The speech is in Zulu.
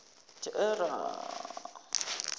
thera